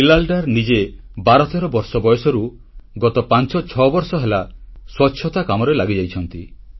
ବିଲାଲ ଡର ନିଜେ 1213 ବର୍ଷ ବୟସରୁ ଗତ 56 ବର୍ଷ ହେଲା ସ୍ୱଚ୍ଛତା କାମରେ ଲାଗିଯାଇଛନ୍ତି